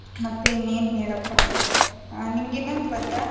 ಮತ್ತೆ ಇನ್ನೇನ್ ಹೇಳಪ್ಪ ಆ ನಿಂಗೆ ಇನ್ನೊಂದ್ ಗೊತ್ತಾ.